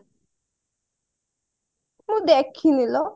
ମୁଁ ଦେଖିନି ଲୋ